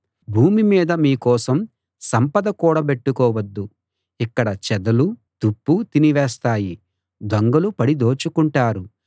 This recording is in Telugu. భూమి మీద మీకోసం సంపద కూడబెట్టుకోవద్దు ఇక్కడ చెదలూ తుప్పూ తినివేస్తాయి దొంగలు పడి దోచుకుంటారు